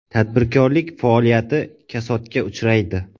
Tadbirkorlik faoliyati kasodga uchraydi.